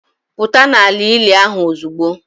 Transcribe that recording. Pụta n'ala ili ahụ ozugbo!